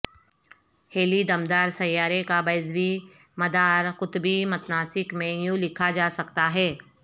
ہیلی دم دار سیارے کا بیضوی مدار قطبی متناسق میں یوں لکھا جا سکتا ہے